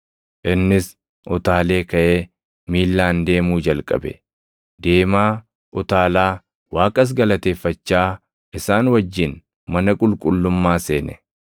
Innis utaalee kaʼee miillaan deemuu jalqabe; deemaa, utaalaa, Waaqas galateeffachaa isaan wajjin mana qulqullummaa seene.